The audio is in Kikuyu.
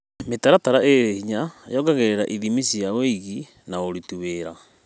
Mĩtaratara ĩrĩ hinya yongagĩrĩra ithimi cia wĩigi wa aruti wĩra.